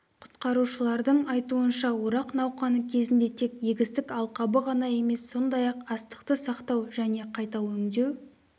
құтқарушылардың айтуынша орақ науқаны кезінде тек егістік алқабы ғана емес сондай-ақ астықты сақтау және қайта өңдеу